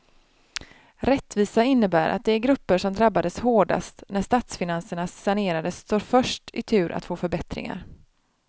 Rättvisa innebär att de grupper som drabbades hårdast när statsfinanserna sanerades står först i tur att få förbättringar.